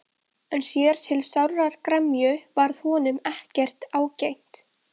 En sér til sárrar gremju varð honum ekkert ágengt.